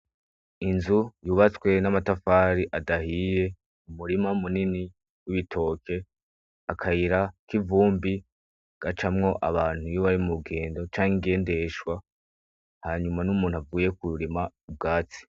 Inzu yubatswe n' amatafari adahiye, umurima munini w' ibitoke, akayira k'ivumbi gacamwo abantu iyo bari murugendo canke ingendeshwa hanyuma n' umuntu avuye kurima ubwatsi.